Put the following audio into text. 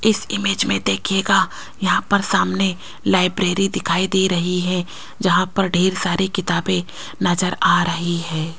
इस इमेज मे देखियेगा यहां पर सामने लाइब्रेरी दिखाई दे रही है जहां पर ढेर सारी किताबें नज़र आ रही है।